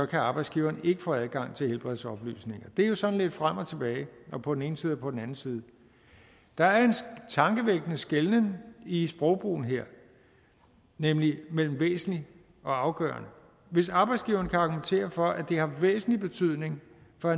kan arbejdsgiveren ikke få adgang til helbredsoplysninger det er jo sådan lidt frem og tilbage på den ene side og på den anden side der er en tankevækkende skelnen i sprogbrugen her nemlig mellem væsentlig og afgørende hvis arbejdsgiveren kan argumentere for at det har væsentlig betydning for